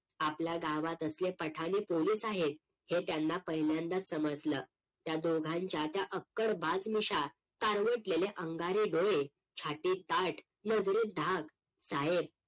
आपल्या गावात असले पठाने पोलीस आहेत हे त्यांना पहिल्यांदाच समजलं त्या दोघांच्या त्या अक्कड बाज मिश्या करवटलेले अंगारे गळे छाती ताट नजरेत धाग साहेब